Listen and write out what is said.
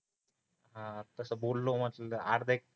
हा तस बोललो मस्त अर्धा एक